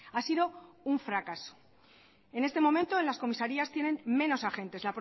ha sido un fracaso en este momento en las comisarias tienen menos agentes